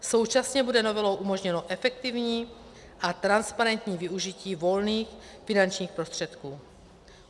Současně bude novelou umožněno efektivní a transparentní využití volných finančních prostředků.